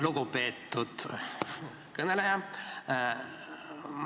Lugupeetud kõneleja!